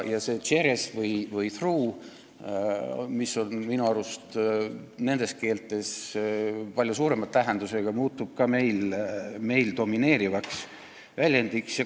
See tšerez või through, mis on minu arust nendes keeltes palju laiema tähendusega, muutub ka meil domineerivaks.